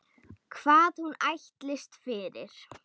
Hvað hún ætlist fyrir.